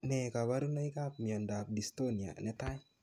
Nee kaparunoik ap miondap dystonia netai